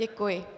Děkuji.